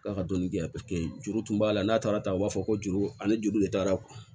K'a ka dɔni di yan paseke juru tun b'a la n'a taara ta u b'a fɔ ko juru ani juru de taara